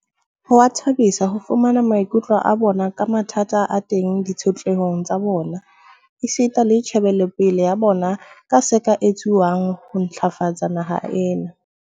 Ho a thabisa ho fumana maikutlo a bona ka mathata a teng ditshotlehong tsa bona, esita le tjhe belopeleng ya bona ka se ka etsuwang ho ntlafatsa naha ena.